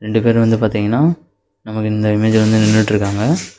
ரெண்டு பேர் வந்து பாத்தீங்கன்னா நமக்கு இந்த இமேஜ்ல வந்து நின்னுட்டுருகாங்க.